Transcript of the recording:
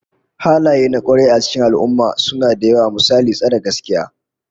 Halayen kwarai a cikin al'ummah suna da yawa, misali tsare gaskiya